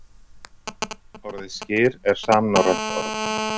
Orðið skyr er samnorrænt orð.